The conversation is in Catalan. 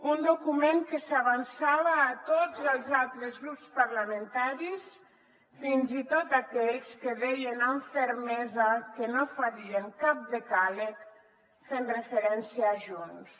un document que s’avançava a tots els altres grups parlamentaris fins i tot a aquells que deien amb fermesa que no farien cap decàleg fent referència a junts